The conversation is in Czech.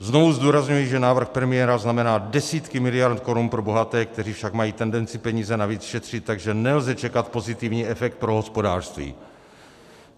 Znovu zdůrazňuji, že návrh premiéra znamená desítky miliard korun pro bohaté, kteří však mají tendenci peníze navíc šetřit, takže nelze čekat pozitivní efekt pro hospodářství.